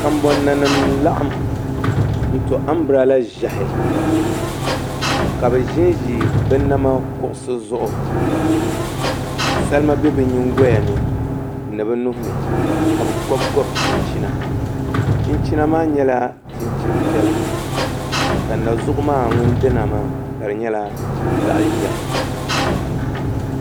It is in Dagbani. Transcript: Kanbon nanima n laɣam n to anbirala ʒiɛhi ka bi ʒinʒi bi nama kuɣusi zuɣu salima bɛ bi nyingoya ni ni bi nuhini ka bi gobi gobi chinchina chinchina maa nyɛla chinchin piɛla ka na zuɣu maa ŋun dina maa ka di nyɛla zaɣ ʒiɛhi